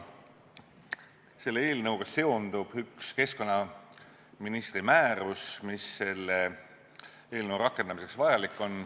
Selle eelnõuga seondub üks keskkonnaministri määrus, mis selle eelnõu rakendamiseks vajalik on.